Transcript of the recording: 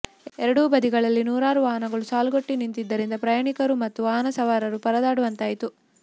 ಎರಡೂ ಬದಿಗಳಲ್ಲಿ ನೂರಾರು ವಾಹನಗಳು ಸಾಲುಗಟ್ಟಿ ನಿಂತಿದ್ದರಿಂದ ಪ್ರಯಾಣಿಕರು ಮತ್ತು ವಾಹನ ಸವಾರರು ಪರದಾಡುವಂತಾಯಿತು